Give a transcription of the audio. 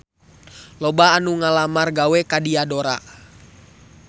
Loba anu ngalamar gawe ka Diadora